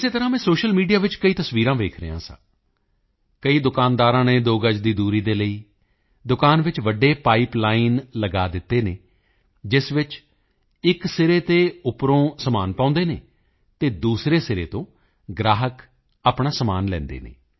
ਇਸੇ ਤਰ੍ਹਾਂ ਮੈਂ ਸੋਸ਼ੀਅਲ ਮੀਡੀਆ ਵਿੱਚ ਕਈ ਤਸਵੀਰਾਂ ਵੇਖ ਰਿਹਾ ਸੀ ਕਈ ਦੁਕਾਨਦਾਰਾਂ ਨੇ ਦੋ ਗਜ ਦੀ ਦੂਰੀ ਲਈ ਦੁਕਾਨ ਵਿੱਚ ਵੱਡੇ ਪਾਈਪਲਾਈਨ ਲਗਾ ਦਿੱਤੇ ਹਨ ਜਿਸ ਵਿੱਚ ਇੱਕ ਸਿਰੇ ਤੋਂ ਉੱਪਰੋਂ ਸਮਾਨ ਪਾਉਂਦੇ ਹਨ ਅਤੇ ਦੂਸਰੇ ਸਿਰੇ ਤੋਂ ਗ੍ਰਾਹਕ ਆਪਣਾ ਸਮਾਨ ਲੈ ਲੈਂਦੇ ਹਨ